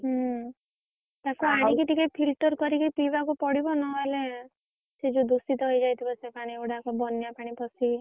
ହୁଁ ତାକୁ ଆଣିକି ଟିକେ filter କରିକି ପିବାକୁ ପଡିବ ନହେଲେ ସିଏ ଯୋଉ ଦୂଷିତ ହେଇଯାଇଥିବ ସେ ପାଣିଗୁଡାକ ବନ୍ୟା ପାଣି ପସିକି।